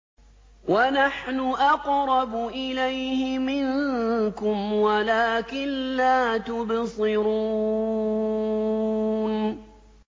وَنَحْنُ أَقْرَبُ إِلَيْهِ مِنكُمْ وَلَٰكِن لَّا تُبْصِرُونَ